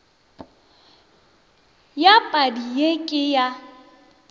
ya padi ye ke ya